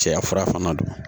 Cɛya fura fana don